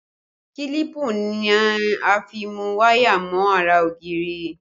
Kílípù ni a fi mú waya mọ ara ògiri